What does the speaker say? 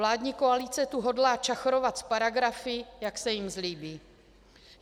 Vládní koalice tu hodlá čachrovat s paragrafy, jak se jim zlíbí.